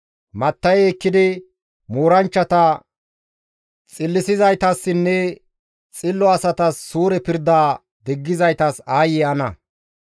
Matta7e ekkidi, mooranchchata xillisizaytassinne xillo asatasi suure pirdaa diggizaytas aayye ana!